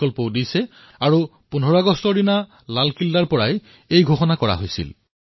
এই ঘোষণা এই বৰ্ষৰ যোৱা ১৫ আগষ্টত মই লালকিল্লাৰ পৰা কৰিছিলো